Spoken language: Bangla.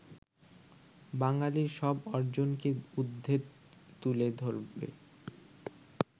বাঙালির সব অর্জনকে উর্দ্ধে তুলে ধরবে